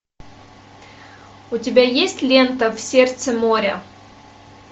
у тебя есть лента в сердце моря